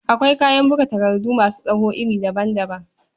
Akwai kayan buga takardu masu tsawo iri daban-daban.